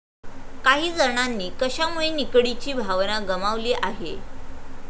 काही जणांनी कशामुळे निकडीची भावना गमावली आहे?